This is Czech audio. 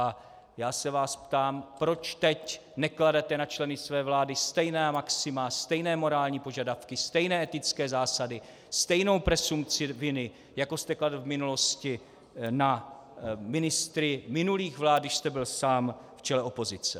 A já se vás ptám, proč teď nekladete na členy své vlády stejná maxima, stejné morální požadavky, stejné etické zásady, stejnou presumpci viny, jako jste kladl v minulosti na ministry minulých vlád, když jste byl sám v čele opozice.